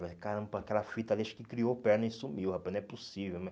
Caramba, aquela fita ali, acho que criou perna e sumiu, rapaz, não é possível.